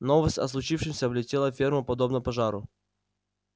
новость о случившемся облетела ферму подобно пожару